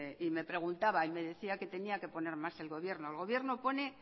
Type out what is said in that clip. y me preguntaba y me decía que tenía que poner más el gobierno el gobierno pone